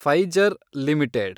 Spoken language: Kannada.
Pfizer limited